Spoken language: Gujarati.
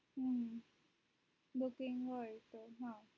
હમ booking હોય તો હા